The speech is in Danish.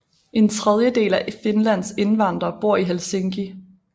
En tredjedel af Finlands indvandrere bor i Helsinki